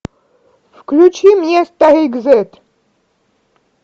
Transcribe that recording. включи мне старик зет